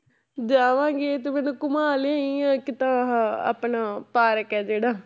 ਜਾਵਾਂਗੇ ਤੂੰ ਮੈਨੂੰ ਘੁਮਾ ਲਿਆਈ, ਇੱਕ ਤਾਂ ਆਹ ਆਪਣਾ ਪਾਰਕ ਹੈ ਜਿਹੜਾ।